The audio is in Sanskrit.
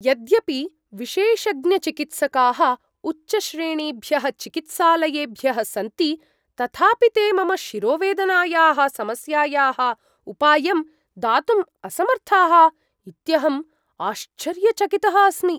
यद्यपि विशेषज्ञचिकित्सकाः उच्चश्रेणीभ्यः चिकित्सालयेभ्यः सन्ति तथापि ते मम शिरोवेदनायाः समस्यायाः उपायं दातुम् असमर्थाः इत्यहम् आश्चर्यचकितः अस्मि।